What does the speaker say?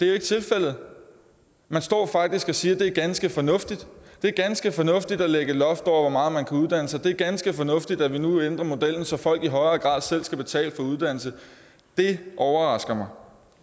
er tilfældet man står faktisk og siger at det er ganske fornuftigt det er ganske fornuftigt at lægge et loft over hvor meget man kan uddanne sig det er ganske fornuftigt at vi nu ændrer modellen så folk i høj grad selv skal betale for uddannelse det overrasker mig